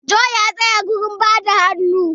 John ya tsaya wajen bada hannu